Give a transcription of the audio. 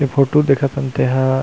ये फोटो देखत हन तेहा--